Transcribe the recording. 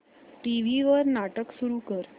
TV वर नाटक सुरू कर